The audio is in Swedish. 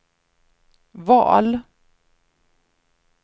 val